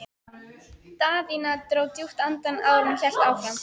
Daðína dró djúpt andann áður en hún hélt áfram.